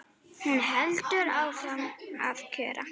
Hún heldur áfram að kjökra.